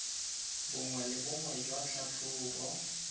bongwe le bongwe jwa tlhatlhobo